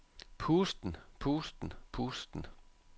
pusten pusten pusten